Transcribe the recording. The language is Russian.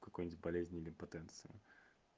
какой-нибудь болезни или потенции